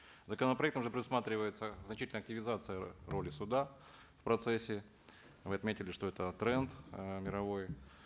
законопроектом же предусматривается значительная активизация роли суда в процессе вы отметили что это тренд э мировой